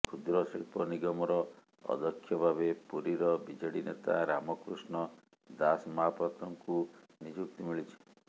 କ୍ଷୁଦ୍ର ଶିଳ୍ପ ନିଗମର ଅଧ୍ୟକ୍ଷ ଭାବେ ପୁରୀର ବିଜେଡି ନେତା ରାମକୃଷ୍ଣ ଦାସମହାପାତ୍ରଙ୍କୁ ନିଯୁକ୍ତି ମିଳିଛି